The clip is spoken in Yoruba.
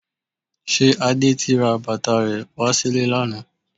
Ṣe Adé ti ra bàtà rẹ wá sílé lánàá?